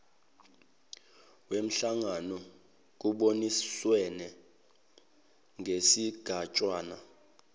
wenhlangano kuboniswane ngesigatshana